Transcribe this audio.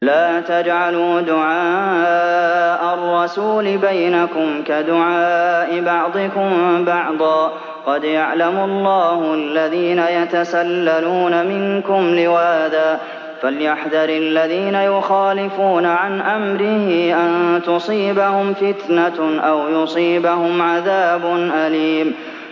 لَّا تَجْعَلُوا دُعَاءَ الرَّسُولِ بَيْنَكُمْ كَدُعَاءِ بَعْضِكُم بَعْضًا ۚ قَدْ يَعْلَمُ اللَّهُ الَّذِينَ يَتَسَلَّلُونَ مِنكُمْ لِوَاذًا ۚ فَلْيَحْذَرِ الَّذِينَ يُخَالِفُونَ عَنْ أَمْرِهِ أَن تُصِيبَهُمْ فِتْنَةٌ أَوْ يُصِيبَهُمْ عَذَابٌ أَلِيمٌ